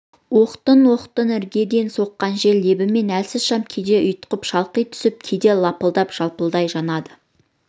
оқтын-оқтын іргеден соққан жел лебімен әлсіз шам кейде ұйтқып шалқи түсіп кейде лапылдап жалпылдай жанады